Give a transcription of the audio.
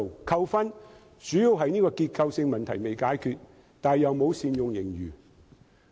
扣分的主要原因是結構性的問題仍未解決，卻又沒有善用盈餘。